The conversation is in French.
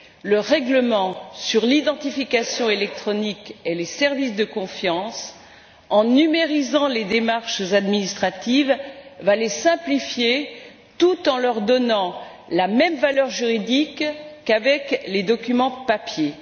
Le règlement sur l'identification électronique et les services de confiance, en numérisant les démarches administratives, va les simplifier, tout en leur donnant la même valeur juridique que les documents sur papier.